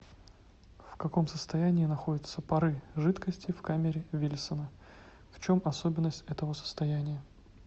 в каком состоянии находятся пары жидкости в камере вильсона в чем особенность этого состояния